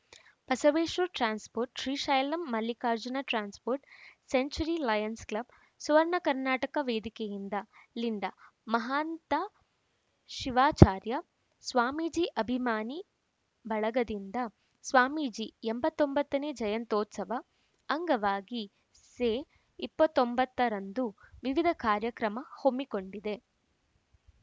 Basaveshwara transport Srishaila Mallikarjuna transport century lions club Suvarna Karnataka ವೇದಿಕೆಯಿಂದ ಲಿಂಡಾ ಮಹಾಂತ ಶಿವಾಚಾರ್ಯ ಸ್ವಾಮೀಜಿ ಅಭಿಮಾನಿ ಬಳಗದಿಂದ ಸ್ವಾಮೀಜಿ ಎಂಬತ್ತೊಂಬತ್ತನೇ ಜಯಂತ್ಯೋತ್ಸವ ಅಂಗವಾಗಿ ಸೆ ಇಪ್ಪತ್ತ್ ಒಂಬತ್ತರಂದು ವಿವಿಧ ಕಾರ್ಯಕ್ರಮ ಹೊಮ್ಮಿಕೊಂಡಿದೆ